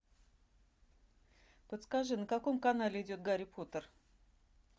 подскажи на каком канале идет гарри поттер